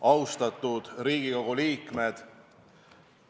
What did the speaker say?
Austatud Riigikogu liikmed!